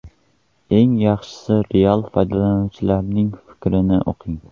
Eng yaxshisi real foydalanuvchilarning fikrlarini o‘qing.